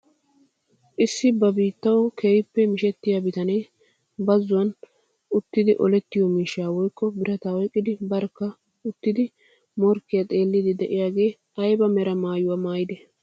Issi ba biittawi keehippe mishshettiyaa bitaniyaa bazon uttida olettiyoo miishshaa woykko birataa oyqqidi barkka uttidi morkkiyaa xeelliidi de'iyaagee ayba mera mayuwaa maayidee?